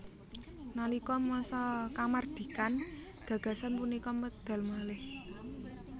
Nalika masa kamardikan gagasan punika medal malih